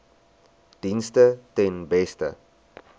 dienste ten beste